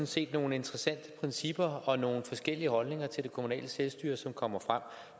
set nogle interessante principper i og nogle forskellige holdninger til det kommunale selvstyre som kommer frem